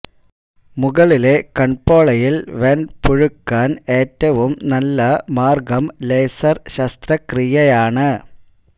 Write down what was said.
മുകളിലെ കൺപോളയിൽ വെൻ പുഴുക്കാൻ ഏറ്റവും നല്ല മാർഗ്ഗം ലേസർ ശസ്ത്രക്രിയയാണ്